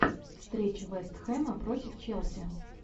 встреча вест хэма против челси